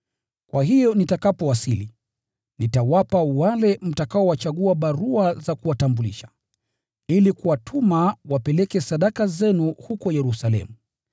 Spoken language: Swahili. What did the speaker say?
Kwa hiyo nitakapowasili, nitawapa wale mtakaowachagua barua za kuwatambulisha, ili kuwatuma wapeleke zawadi zenu huko Yerusalemu.